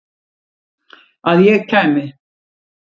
Að ég kæmi?